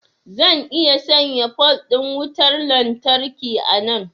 zan iya sanya pole din wutar lantarki a nan